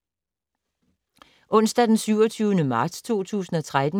Onsdag d. 27. marts 2013